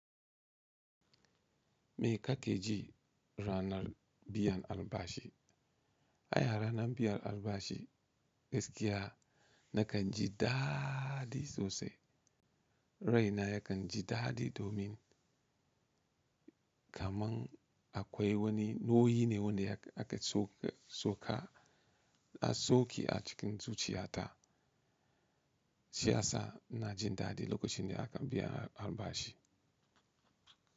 Me ka ke ji ranar biyan albashi? A ranar biyan albashi gaskiya na kan ji daɗi sosai. Rai na yakan ji dadɗi domin kamar akwai wani nauyi ne wanda aka sauƙe a cikin zuciya ta. Shiyasa ina jin daɗi lokacin da aka biya albashi.